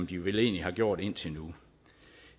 de vel egentlig har gjort indtil nu